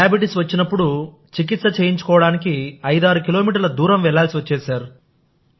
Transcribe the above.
diabetes వచ్చినప్పుడుచికిత్స చేయించుకోవడానికి ఐదారు కిలోమీటర్ల దూరం వెళ్ళాల్సివచ్చేది